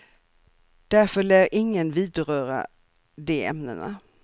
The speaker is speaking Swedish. Därför lär ingen vidröra de ämnena.